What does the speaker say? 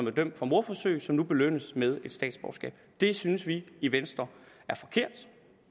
er dømt for mordforsøg som nu belønnes med et statsborgerskab det synes vi i venstre